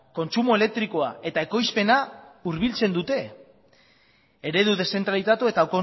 kontsumo elektrikoa eta ekoizpena hurbiltzen dute eredu dezentralitatu eta